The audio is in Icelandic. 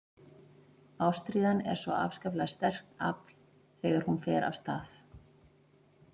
Ástríðan er svo afskaplega sterkt afl þegar hún fer af stað.